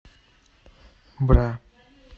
бра